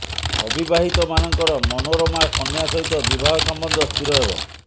ଅବିବାହିତ ମାନଙ୍କର ମନୋରମା କନ୍ୟା ସହିତ ବିବାହ ସମ୍ବନ୍ଧ ସ୍ଥିର ହେବ